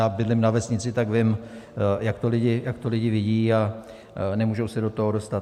Já bydlím na vesnici, tak vím, jak to lidi vidí a nemůžou se do toho dostat.